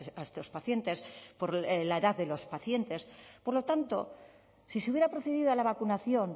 a estos pacientes por la edad de los pacientes por lo tanto si se hubiera procedido a la vacunación